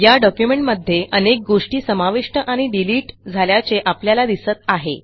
या डॉक्युमेंटमध्ये अनेक गोष्टी समाविष्ट आणि डिलिट झाल्याचे आपल्याला दिसत आहे